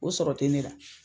O sɔrɔ tɛ ne la.